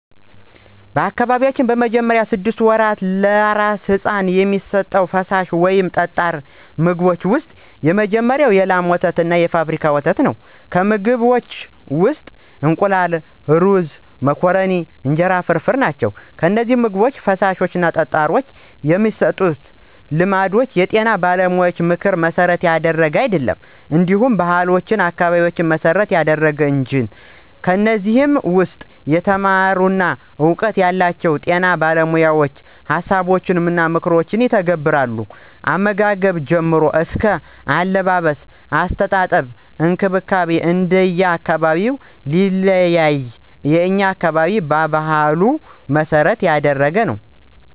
በአካባቢያችን በመጀመሪያዎቹ ስድስት ወራት ለአራስ ሕፃን የሚሰጡት ፈሳሽ ወይም ጠጣር ምግቦች ውስጥ የመጀመሪያው የላም ወተትና የፋብሪካ ወተት ናቸው፣ ከምግቦችም ውስጥ እንቁላል፣ ሩዞች፣ መኮረኒ፣ እንጀራ ፍርፍር ናቸው። እነዚህን ምግቦች/ፈሳሾች የመስጠት ልማድ የጤና ባለሙያዎችን ምክር መሠረት ያደረገ አይደለም እንዲሁ ባህሉን፣ አካባቢውን መሰረት ያደረገ እንጅ የኔ ምልከታ ነው። ከዚህ ውስም የተማሩና እውቀቱ ያላቸው በጤና ባለሞያዎችን ሀሳቦችንና ምክሮችን ይተገብራሉ። ከአመጋገብ ጀምሮ አስከ አለባበስ፣ አስተጣጠብ እንክብካቤ እንደየ አካባቢው ቢለያይም የኛ አካባቢ በባህሉ መሰረት ያደረገ ነው።